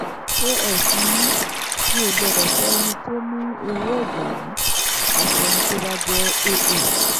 as ni mí mi ò gbọ́dọ̀ fẹ́ ẹni tó ní irú ẹ̀jẹ̀ yìí àfi ẹni tó bá jẹ́ aa